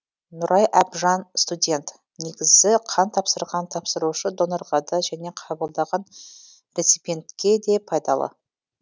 нұрай әбжан студент негізі қан тапсырған тапсырушы донорға да және қабылдаған реципиентке де пайдалы